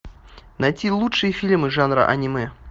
найти лучшие фильмы жанра аниме